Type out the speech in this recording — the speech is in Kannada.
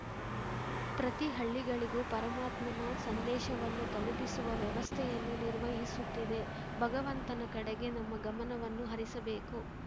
ಪ್ರತಿ ಹಳ್ಳಿಗಳಿಗೂ ಪರಮಾತ್ಮನ ಸಂದೇಶವನ್ನು ತಲುಪಿಸುವ ವ್ಯವಸ್ಥೆಯನ್ನು ನಿರ್ವಹಿಸುತ್ತಿದೆ ಭಗವಂತನ ಕಡೆಗೆ ನಮ್ಮ ಗಮನವನ್ನು ಹರಿಸಬೇಕು